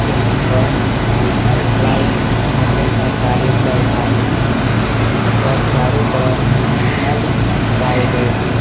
यहां पर घर ढलाई करने का कार्य चल रहा है यहां पर चारो तरफ रड लगाए गए है।